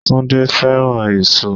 Túndé fẹ́ràn èso.